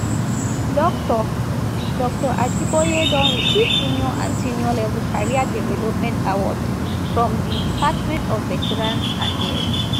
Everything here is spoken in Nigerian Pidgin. dr dr ajiboye don receive junior and senior level career development award from di department of veterans affairs